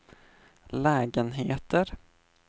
lägenheter